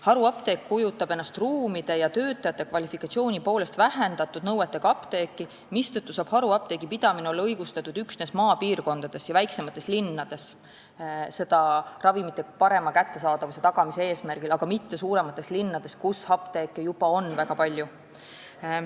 Haruapteek kujutab endast ruumide ja töötajate kvalifikatsiooni poolest vähendatud nõuetega apteeki, mistõttu saab haruapteegi pidamine olla õigustatud üksnes maapiirkondades ja väiksemates linnades ravimite parema kättesaadavuse tagamise eesmärgil, aga mitte suuremates linnades, kus apteeke juba on väga palju.